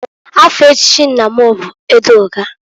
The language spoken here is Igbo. Afa echichi nna m bụ Edọga.